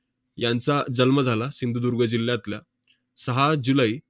यांचा जन्म झाला सिंधुदुर्ग जिल्ह्यातल्या, सहा जुलै